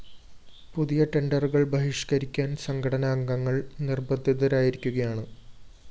പുതിയ ടെണ്ടറുകള്‍ ബഹിഷ്‌ക്കരിക്കാന്‍ സംഘടന അംഗങ്ങള്‍ നിര്‍ബന്ധിതരായിരിക്കുകയാണ്